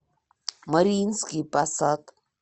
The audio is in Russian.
мариинский посад